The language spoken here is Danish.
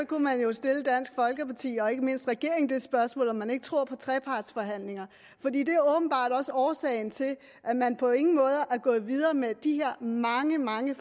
kunne man jo stille dansk folkeparti og ikke mindst regeringen det spørgsmål om man ikke tror på trepartsforhandlinger for årsagen til at man på ingen måde er gået videre med de her mange mange